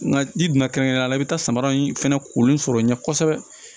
Nga ni don kɛrɛnkɛrɛnnen la i bɛ taa samara in fɛnɛ kori sɔrɔ ɲɛ kosɛbɛ